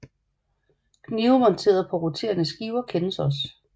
Knive monteret på roterende skiver kendes også